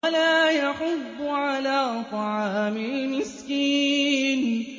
وَلَا يَحُضُّ عَلَىٰ طَعَامِ الْمِسْكِينِ